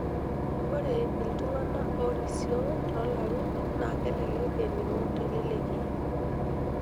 Ore iltungana oorisio toolarin naa kelelek ening'o teleleki.